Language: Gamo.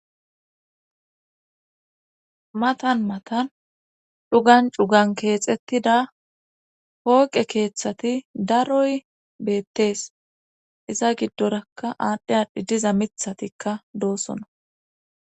Matan matan chugan cugan keexettida hooqe keeththati daroy beettees iza giddorakka aadhdhe aadhdhi diza mithatikka doosona.